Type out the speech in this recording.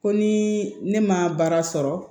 Ko ni ne ma baara sɔrɔ